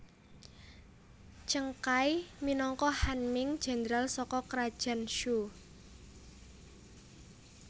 Zheng Kai minangka Han Ming Jéndral saka Krajan Shu